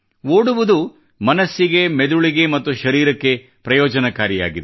ಓಡುವುದು ಮನಸ್ಸಿಗೆಮೆದುಳಿಗೆ ಮತ್ತು ಶರೀರಕ್ಕೆ ಪ್ರಯೋಜನಕಾರಿಯಾಗಿದೆ